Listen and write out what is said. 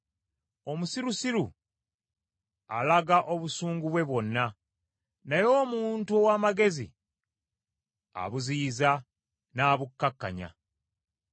Omusirusiru alaga obusungu bwe bwonna, naye omuntu ow’amagezi abuziyiza n’abukkakkanya.